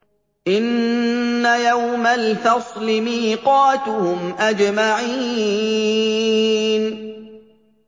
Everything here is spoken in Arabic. إِنَّ يَوْمَ الْفَصْلِ مِيقَاتُهُمْ أَجْمَعِينَ